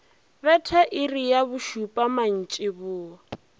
betha iri ya bošupa mantšiboa